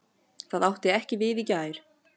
Það átti ekki við í gær.